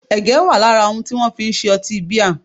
Ẹ̀gẹ́ wà lára àwọn ohun tí wọ́n fi ń se ọtí bíà